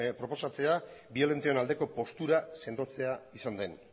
proposatzea biolentoen aldeko postura sendotzea izan den